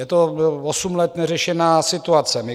Je to osm let neřešená situace.